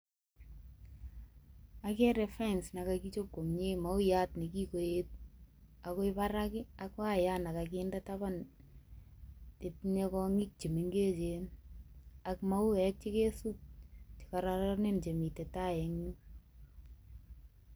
Agere fence nekagichob komye, mauyat nekigoet ago barak, ak wayat ne kaginde taban netinye kong'ik che mengechen ak mauek che kesub. Kararanen chemite tai eng yu.